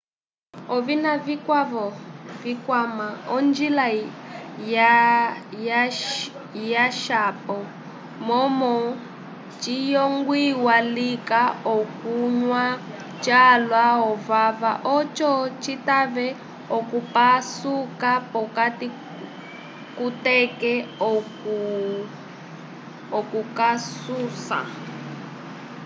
ovina vikwavo vikwama onjila yaswapo momo ciyongwiwa lika okunywa calwa ovava oco citave okupasuka p'okati kuteke okukasũsa